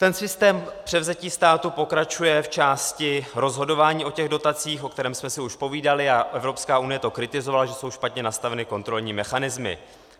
Ten systém převzetí státu pokračuje v části rozhodování o těch dotacích, o kterém jsme si už povídali, a Evropská unie to kritizovala, že jsou špatně nastaveny kontrolní mechanismy.